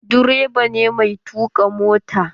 Direba ne mai tuƙa mota.